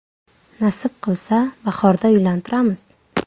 Nasib qilsa, bahorda uylantiramiz.